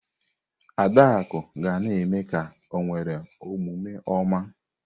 Adaku ga na-eme ka o nwere omume oma.